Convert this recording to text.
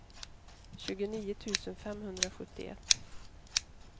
tjugonio tusen femhundrasjuttioett